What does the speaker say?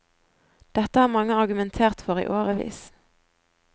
Dette har mange argumentert for i årevis.